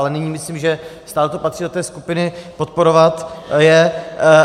Ale nyní myslím, že stále to patří do té skupiny podporovat je.